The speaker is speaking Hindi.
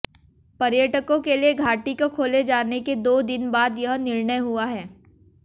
पर्यटकों के लिए घाटी को खोले जाने के दो दिन बाद यह निर्णय हुआ है